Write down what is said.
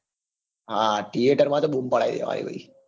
હા theater માં તો બમ પડાવી દેવાની બધી.